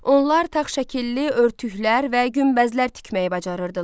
Onlar tağ şəkilli örtüklər və günbəzlər tikməyi bacarırdılar.